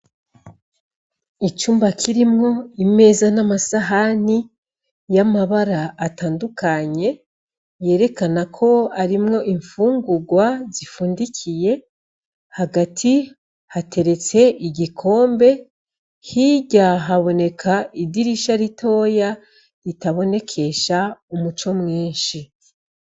Icumba kirimwo imeza n'amasahani yamabara atandukanye yerekana ko arimwo imfugurwa zifundikiye. Hagati hateretse igikombe hirya haboneka idirisha ritoya ritabonekesha umuco mwinshi.